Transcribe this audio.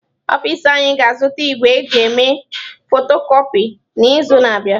Ọfịs anyị ga-azụta igwe eji eme fotokọpi n'izu na-abịa.